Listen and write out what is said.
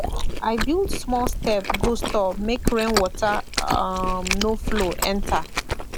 i build small step go store make rainwater um no flow enter